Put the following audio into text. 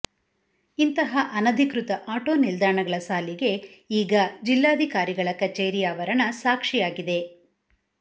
ಇಂತಹ ಅನಧಿಕೃತ ಆಟೋ ನಿಲ್ದಾಣಗಳ ಸಾಲಿಗೆ ಈಗಾ ಜಿಲ್ಲಾಧಿಕಾರಿಗಳ ಕಚೇರಿ ಆವರಣ ಸಾಕ್ಷಿಯಾಗಿದೆ